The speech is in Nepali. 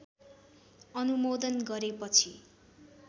अनुमोदन गरेपछि